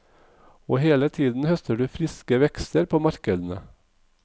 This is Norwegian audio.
Og hele tiden høster du friske vekster på markedene.